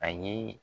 Ani